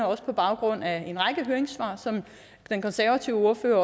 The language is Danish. også på baggrund af en række høringssvar som den konservative ordfører